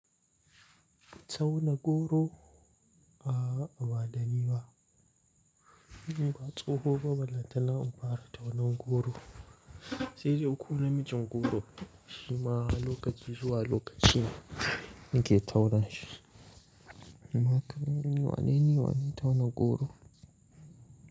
Tauna goro a'a badani ba, ni ba tsoho ba, ballantana in fara taunan goro. Sai dai ko namijin goro, shima lokaci zuwa lokaci ne nike tauna shi. Amma kam ni wane ni, wane tauna goro.